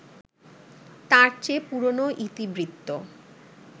তার চেয়ে পুরনো ইতিবৃত্ত